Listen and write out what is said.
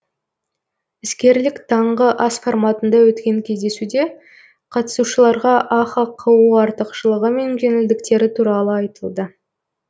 іскерлік таңғы ас форматында өткен кездесуде қатысушыларға ахқо артықшылығы мен жеңілдіктері туралы айтылды